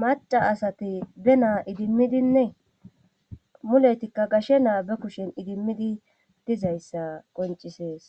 maca asati be naa idimmidinne muletikka gashe naa be kushen idimmidi dizayssa qoncisees